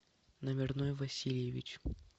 номерной васильевич